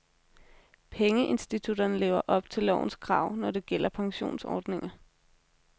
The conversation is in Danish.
Pengeinstitutterne lever op til lovens krav, når det gælder pensionsordninger.